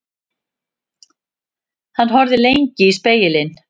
Hann horfði lengi í spegilinn.